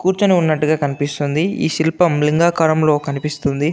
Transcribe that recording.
కూచోనిఉన్నట్టు కనిపిస్తుంది. ఏ శిల్పం లింగాకారంలో కనిపిస్తుంది.